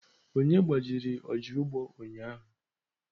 Onye gbajiri ọja ugbo ụnyahụ?